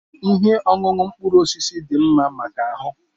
Ihe ọṅụṅụ mkpụrụ osisi dị mma maka ahụ.